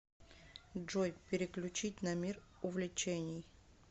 джой переключить на мир увлечений